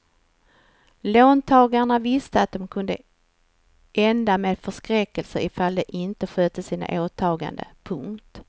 Låntagarna visste att det kunde ända med förskräckelse ifall de inte skötte sina åtaganden. punkt